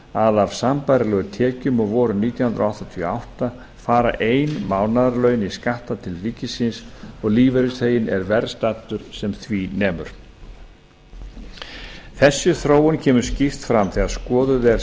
að af sambærilegum tekjum og voru nítján hundruð áttatíu og átta fara ein mánaðarlaun í skatta til ríkisins og lífeyrisþeginn er verr staddur sem því nemur þessi þróun kemur skýrt fram þegar skoðuð er